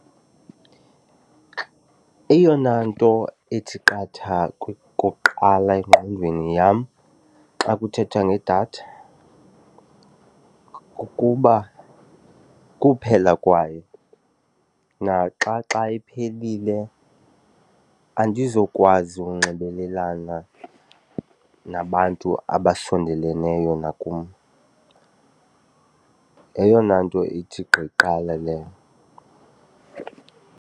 Eyona nto ethi qatha okokuqala engqondweni yam xa kuthethwa ngedatha kukuba kuphela kwayo naxa xa iphelile andizukwazi unxibelelana nabantu abasondeleneyo nakum. Yeyona nto ithi gqi kuqala leyo.